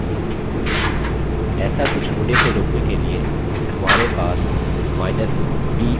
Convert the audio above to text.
ऐसा कुछ होने से रोकने के लिए हमारे पास केपिटलb option है